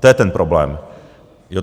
To je ten problém, jo.